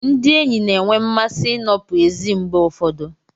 Ndị enyi na-enwe mmasị ịnọpụ ezi mgbe ụfọdụ.